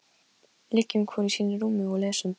Filip, hvaða leikir eru í kvöld?